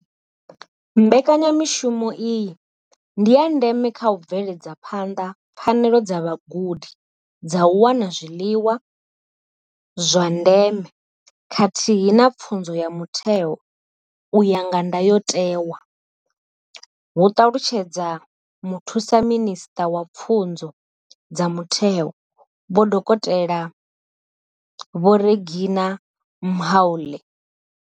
Mbekanyamushumo iyi ndi ya ndeme kha u bveledza phanḓa pfanelo dza vhagudi dza u wana zwiḽiwa zwa ndeme khathihi na pfunzo ya mutheo u ya nga ndayotewa, hu ṱalutshedza muthusaminisṱa wa pfunzo dza mutheo, dokotela vho Reginah Mhaule.